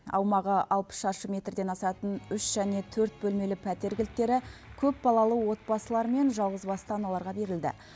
аумағы алпыс шаршы метрден асатын үш және төрт бөлмелі пәтер кілттері көпбалалы отбасылар мен жалғызбасты аналарға берілді